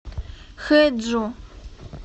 хэджу